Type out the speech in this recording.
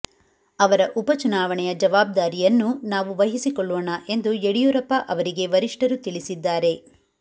ಅವರ ಉಪಚುನಾವಣೆಯ ಜವಾಬ್ದಾರಿಯನ್ನೂ ನಾವು ವಹಿಸಿಕೊಳ್ಳೋಣ ಎಂದು ಯಡಿಯೂರಪ್ಪ ಅವರಿಗೆ ವರಿಷ್ಠರು ತಿಳಿಸಿದ್ದಾರೆ